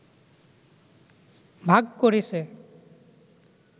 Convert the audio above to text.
ভাগ করেছে